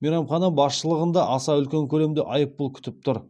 мейрамхана басшылығын да аса үлкен көлемдегі айыппұл күтіп тұр